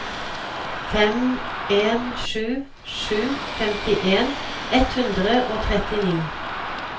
fem en sju sju femtien ett hundre og trettini